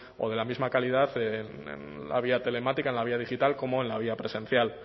o de la misma calidad en la vía telemática en la vía digital como en la vía presencial